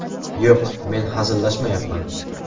Yo‘q, men hazillashmayapman.